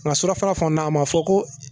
Nka surafana a ma fɔ ko